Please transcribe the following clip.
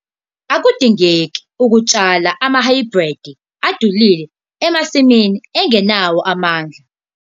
Akudingeki ukutshala amahhayibhridi adulile emasimini angenawo amandla.